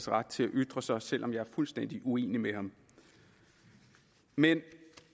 ret til at ytre sig selv om jeg er fuldstændig uenig med ham men